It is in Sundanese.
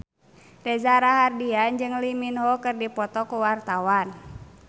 Reza Rahardian jeung Lee Min Ho keur dipoto ku wartawan